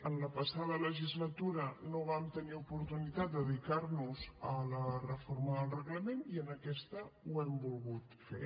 en la passada legislatura no vam tenir oportunitat de dedicar nos a la reforma del reglament i en aquesta ho hem volgut fer